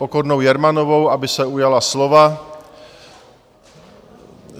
Pokornou Jermanovou, aby se ujala slova.